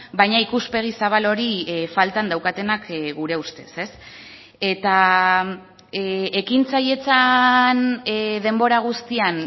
baina ikuspegi zabal hori faltan daukatenak gure ustez ez eta ekintzailetzan denbora guztian